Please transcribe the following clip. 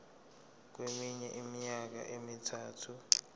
kweminye iminyaka emithathu